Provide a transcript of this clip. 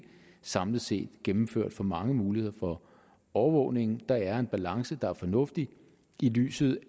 samlet set gennemført for mange muligheder for overvågning der er en balance der er fornuftig i lyset